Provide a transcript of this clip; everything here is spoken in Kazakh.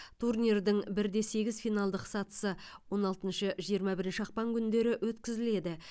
турнирдің бір де сегіз финалдық сатысы он алтыншы жиырма бірінші ақпан күндері өткізіледі